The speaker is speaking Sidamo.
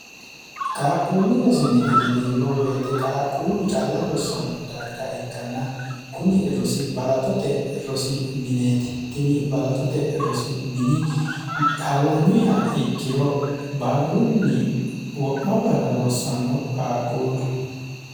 qaaqquullu rosi mine jineemmo woyite qaaqquullu calla rossanno darga ikkanna kuni rosi balaxote rosi mineeti tini balaxote rosi mini hallanyuiha ikkiro barrunni wo'ma barra rossanno qaaqquulu